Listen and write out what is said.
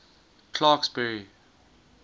clarksburry